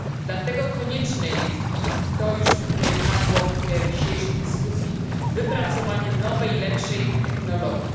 Dlatego konieczne jest, i to już padło w dzisiejszej dyskusji, wypracowanie nowej, lepszej technologii.